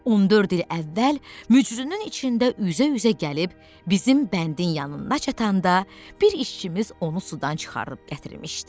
14 il əvvəl mücrünün içində üzə-üzə gəlib bizim bəndin yanında çatanda bir işçimiz onu sudan çıxarıb gətirmişdi.